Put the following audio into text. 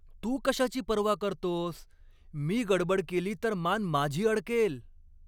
तू कशाची पर्वा करतोस? मी गडबड केली तर मान माझी अडकेल.